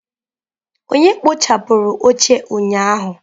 Onye kpochapụrụ oche ụnyaahụ?